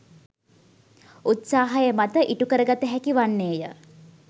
උත්සාහය මත ඉටුකරගත හැකි වන්නේය.